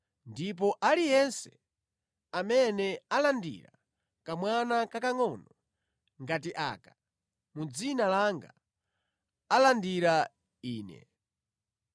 Ndipo aliyense amene alandira kamwana kakangʼono ngati aka mu dzina langa, alandira Ine.